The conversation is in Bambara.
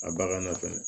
A bagan na fɛnɛ